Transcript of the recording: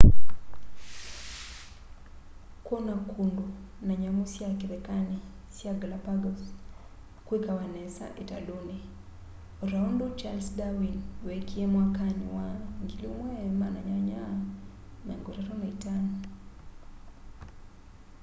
kwona kundu na nyamu sya kithekani sya galapagos kwikawa nesa italuni o ta undu charles darwin wekie mwakani wa 1835